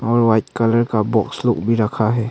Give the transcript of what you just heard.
और white colour का box लोग भी रखा है।